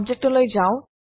object লৈ যাও